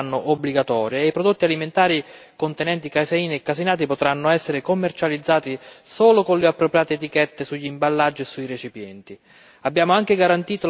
Queste informazioni adesso saranno obbligatorie e i prodotti alimentari contenenti caseina e caseinati potranno essere commercializzati solo con le appropriate etichette sugli imballaggi e sui recipienti.